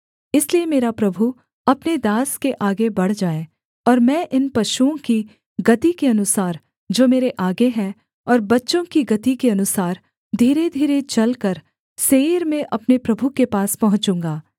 इसलिए मेरा प्रभु अपने दास के आगे बढ़ जाए और मैं इन पशुओं की गति के अनुसार जो मेरे आगे है और बच्चों की गति के अनुसार धीरे धीरे चलकर सेईर में अपने प्रभु के पास पहुँचूँगा